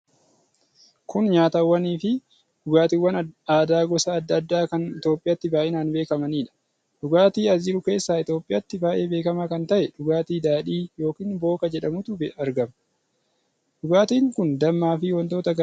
Kun nyaatawwan fi dhugaatiwwan aadaa gosa adda addaa kan Itoophiyaatti baay'inaan beekamaniidha. Dhugaatii as jiru keessaa Itoophiyaatti baay'ee beekamaa kan ta'e dhugaatii daadhii yookiin booka jedhamutu argama. Dhugaatiin kun dammaa fi wantoota garaa garaa irraa kan tolfamuudha.